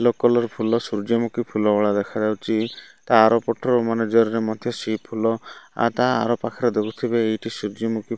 Colour ଫୁଲ ସୂର୍ଯ୍ୟମୁଖୀ ଫୁଲ ଭଳିଆ ଦେଖାଯାଉଚି। ତାଆରପଟର ମାନେ ଜରିରେ ମଧ୍ୟ ସେଇ ଫୁଲ ଆ ତା ଆରପାଖରେ ଦେଖିଥିବେ ଏଇଠି ସୂର୍ଯ୍ୟମୁଖୀ --